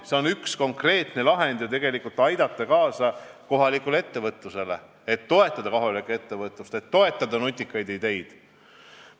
See on üks konkreetne võimalus aidata kaasa kohalikule ettevõtlusele ja toetada nutikaid ideid.